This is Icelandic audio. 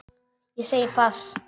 Ég segi pass.